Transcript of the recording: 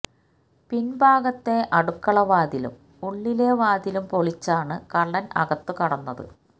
പിന്ഭാഗത്തെ അടുക്കള വാതിലും ഉള്ളിലെ വാതിലും പൊളിച്ചാണ് കള്ളന് അകത്തു കടന്നത്